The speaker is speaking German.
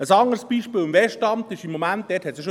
Ein anderes Beispiel ist im Moment im Westamt.